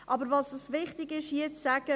Es ist uns hier wichtig zu sagen: